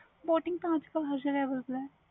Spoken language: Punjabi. boating